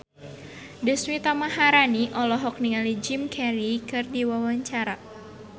Deswita Maharani olohok ningali Jim Carey keur diwawancara